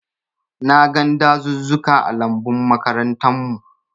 Na gan dazuzzuka ã lambun makarantan mu.